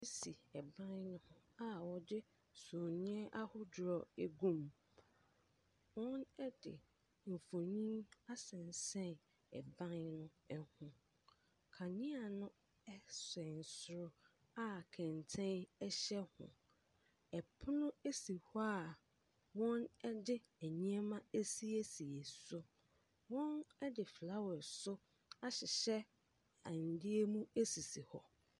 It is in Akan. Si ɛban no ho a wɔde summiiɛ ahodoɔ agum. Wɔde mfonin asensɛn ɛban no ho. Kanea no ɛsɛn ɛsoro a kɛntɛn hyɛ ho. ℇpono si hɔ a wɔde nneɛma asiesie so. Wɔde flawase nso ahyehyɛ adeɛ mu sisi hɔ.